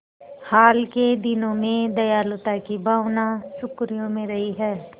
हाल के दिनों में दयालुता की भावना सुर्खियों में रही है